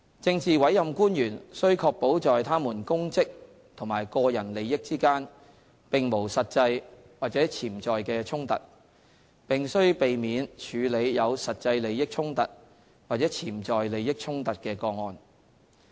政治委任官員須確保在他們公職和個人利益之間並無實際或潛在的衝突，並須避免處理有實際利益衝突或潛在利益衝突的個案。